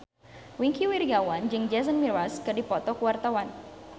Wingky Wiryawan jeung Jason Mraz keur dipoto ku wartawan